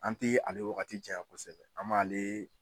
An tee ale wagati jaɲa kosɛbɛ an b'ale